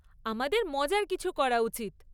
আমাদের মজার কিছু করা উচিত।